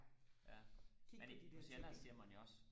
ja men på sjælland siger man jo også